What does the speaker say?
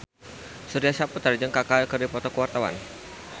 Surya Saputra jeung Kaka keur dipoto ku wartawan